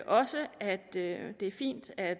også at det er fint at